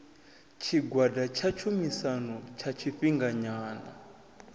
tshigwada tsha tshumisano tsha tshifhinganyana